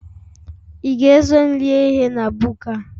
Ị ga-eso m rie ihe na buka a?